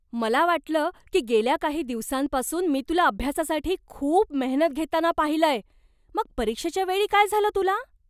मला वाटलं की गेल्या काही दिवसांपासून मी तुला अभ्यासासाठी खूप मेहनत घेताना पाहिलंय. मग परीक्षेच्या वेळी काय झालं तुला?